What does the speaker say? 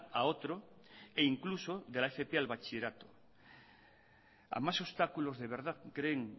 a otro e incluso de la fp a bachillerato a más obstáculos de verdad creen